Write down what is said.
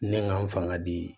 Ne ka n fanga di